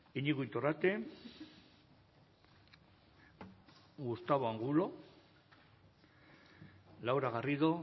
iñigo iturrate gustavo angulo laura garrido